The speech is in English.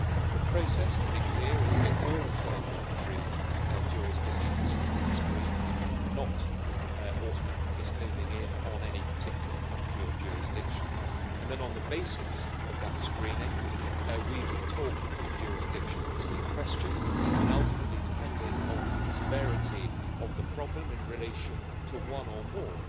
The process, to be clear, is that all third country jurisdictions would be screened not automatically just homing in on any particular country or jurisdiction and then on the basis of that screening we would talk to the jurisdictions in question and ultimately, depending on the severity of the problem in relation to one or more